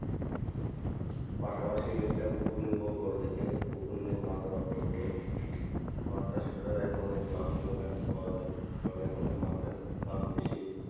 পাশাপাশি একটা পুকুর নিব বড় দেখে, পুকুর নিয়ে মাছ আবাদ করব মাছ চাষ করার এখন অনেক লাভজনক আর কি পাওয়া যায়, কারণ এখন যে মাছের দাম বেশি।